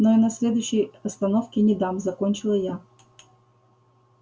но и на следующей остановке не дам закончила я